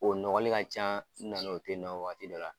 O nɔgɔli ka can u nana o tɛ nɔ waati dɔ la